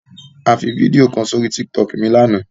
A fi fídíò kan sórí Tiktok mi lánàá.